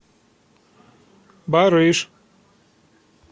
барыш